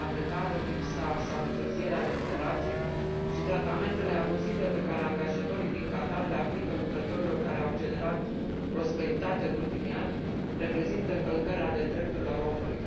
Munca precară, lipsa sau întârzierea remunerației și tratamentele abuzive pe care angajatorii din Qatar le aplică lucrătorilor care au generat prosperitate în ultimii ani reprezintă încălcări ale drepturilor omului.